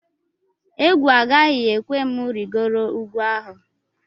Egwu agaghị ekwe m rịgoro ugwu ahụ